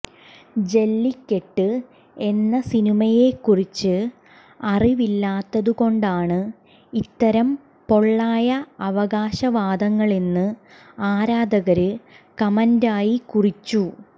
ജല്ലിക്കെട്ട് എന്ന സിനിമയെക്കുറിച്ച് അറിവില്ലാത്തതുകൊണ്ടാണ് ഇത്തരം പൊള്ളയായ അവകാശവാദങ്ങളെന്ന് ആരാധകര് കമന്റായി കുറിച്ചു